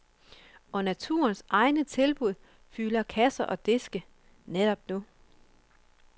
Og naturens egne tilbud fylder kasser og diske netop nu.